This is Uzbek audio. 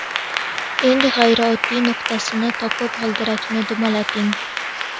Eng og‘riydigan nuqtasini topib g‘ildirakni dumalating.